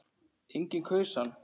Enginn kaus hann.